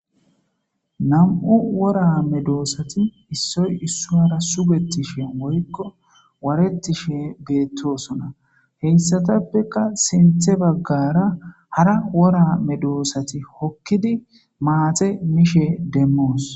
Nam7u wora medoosati issoy issuwara sugetishen woykko waarettishe beettosona. Heyssatappeka sinthe baggara hara wora medoosati hokkidi maate mishe demmoos.